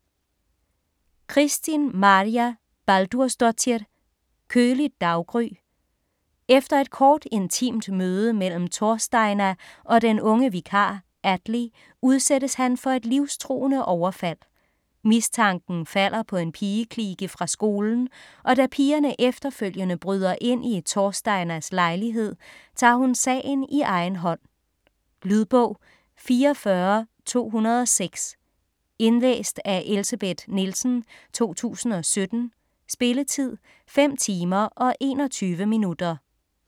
Kristín Marja Baldursdóttir: Køligt daggry Efter et kort, intimt møde mellem Thorsteina og den unge vikar Atli, udsættes han for et livstruende overfald. Mistanken falder på en pigeklike fra skolen, og da pigerne efterfølgende bryder ind i Thorsteinas lejlighed, tager hun sagen i egen hånd. Lydbog 44206 Indlæst af Elsebeth Nielsen, 2017. Spilletid: 5 timer, 21 minutter.